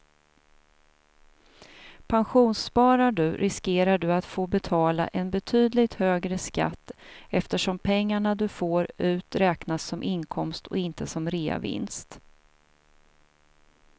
Pensionssparar du riskerar du att få betala en betydligt högre skatt eftersom pengarna du får ut räknas som inkomst och inte som reavinst.